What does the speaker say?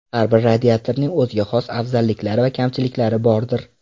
Har bir radiatorning o‘ziga xos afzalliklari va kamchiliklari bordir.